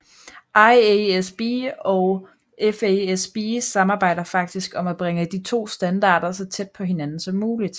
IASB og FASB samarbejder faktisk om at bringe de to standarder så tæt på hinanden som muligt